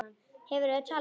Hefurðu talað við hann?